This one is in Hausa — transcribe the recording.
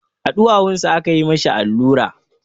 A ɗuwawunsa aka yi ma shi allura.